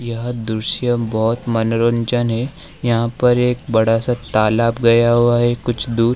यह दृश्य बहोत मनोरंजन है यहां पर एक बड़ा सा तालाब गया हुआ है कुछ दूर।